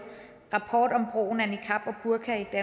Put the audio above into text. rapporten om brugen af niqab og burka i